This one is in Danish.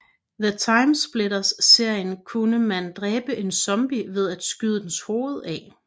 I TimeSplitters serien kunne man dræbe en zombie ved at skyde dens hoved af